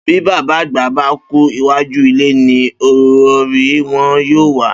Bí bàbá àgbà bá kú, iwájú ilé ni orórì wo̩n yóò wà